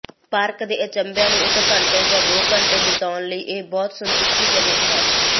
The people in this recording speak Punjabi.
ਪਾਰਕ ਦੇ ਅਚੰਭਿਆਂ ਨੂੰ ਇਕ ਘੰਟੇ ਜਾਂ ਦੋ ਘੰਟੇ ਬਿਤਾਉਣ ਲਈ ਇਹ ਬਹੁਤ ਸੰਤੁਸ਼ਟੀਜਨਕ ਹੈ